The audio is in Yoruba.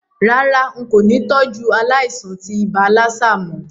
Rárá, n kò ni tọ́jú aláìsàn tí ibà lassa mó